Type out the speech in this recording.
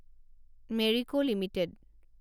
Marico limited